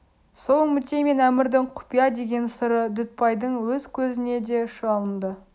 сол үмітей мен әмірдің құпия деген сыры дүтбайдың өз көзіне де шалынды